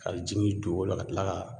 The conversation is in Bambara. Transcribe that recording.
A bi jigin dugukolo la ka kila ka